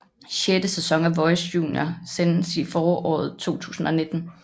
Sjette sæson af Voice Junior sendes i foråret 2019